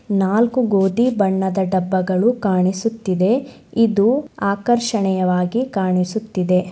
ನಾಲ್ಕು ಗೋದಿ ಬಣ್ಣದ ಡಬ್ಬಗಳು ಕಾಣಿಸುತ್ತಿದೆ. ಇದು ಆಕರ್ಷಣೆಯವಾಗಿ ಕಾಣಿಸುತ್ತಿದೆ.